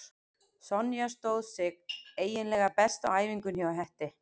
Sonja stóð sig eiginlega best á æfingunni hjá Hetti.